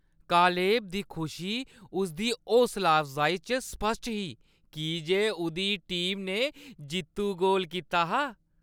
Caleb दी खुशी उसदी हौसलाअफजाई च स्पश्ट ही की जे उʼदी टीम ने जेत्तु गोल कीता हा।